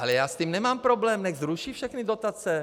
Ale já s tím nemám problém, nechť zruší všechny dotace.